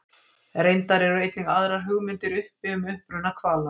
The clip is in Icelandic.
Reyndar eru einnig aðrar hugmyndir uppi um uppruna hvala.